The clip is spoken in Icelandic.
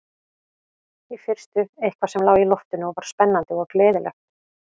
Í fyrstu eitthvað sem lá í loftinu og var spennandi og gleðilegt.